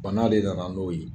Bana de nana n'o ye